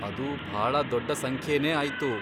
ಅದು ಭಾಳ ದೊಡ್ಡ ಸಂಖ್ಯೆನೇ ಆಯ್ತು!